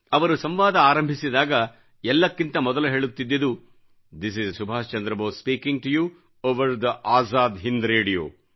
ಅವರು ಸಂವಾದ ಆರಂಭಿಸಿದಾಗ ಎಲ್ಲಕ್ಕಿಂತ ಮೊದಲು ಹೇಳುತ್ತಿದ್ದುದು this is Netaji Subhash Chandra Bose speaking to you over the Azad Hind radio